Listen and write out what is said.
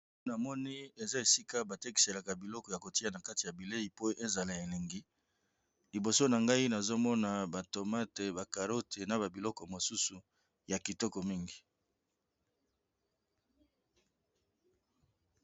Na moni eza esika batekiselaka biloko ya kotia na kati ya bilei po ezala elengi liboso na ngai nazomona ba tomate, ba carote, na ba biloko mosusu ya kitoko mingi.